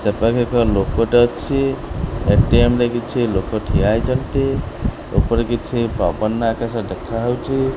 ସେପାଖେ ପାଖେ ଲୋକଟେ ଅଛି ଏଟିଏମ୍ ରେ କିଛି ଲୋକ ଠିଆ ହେଇଛନ୍ତି ଉପରେ କିଛି ପବନ ଆକାଶ ଦେଖା ହଉଛି।